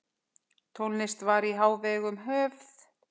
Tónlist var í hávegum höfð.